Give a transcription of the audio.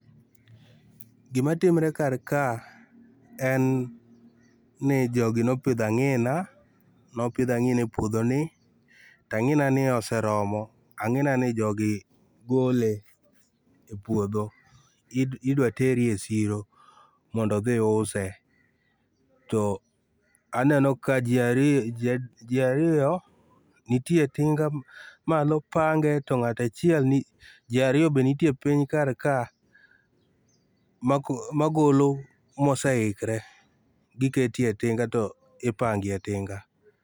Gima timre kar ka, en ni jogi nopidho ang'ina, nopidho ang'ina e puodho ni. To ang'ina ni oseromo. Ang'ina ni jogi gole e puodho. Idwa teri e chiro mondo dhi use. To, aneno ka ji ariyo nitie tinga malo pange, to ng'at achiel ni, ji ariyo be nitie piny kar ka, magolo moseikre. Giketie tinga to ipangie tinga.